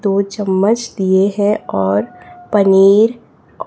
दो चम्मच दिए हैं और पनीर--